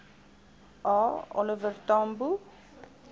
a oliver tambo